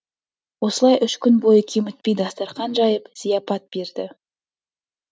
осылай үш күн бойы кемітпей дастарқан жайып зияпат берді